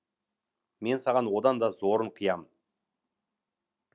мен саған одан да зорын қиям